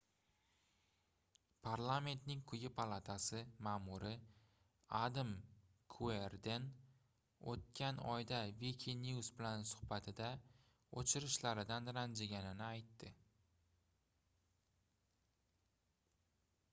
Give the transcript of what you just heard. parlamentning quyi palatasi maʼmuri adam kuerden oʻtgan oyda wikinews bilan suhbatida oʻchirishlardan ranjiganini aytdi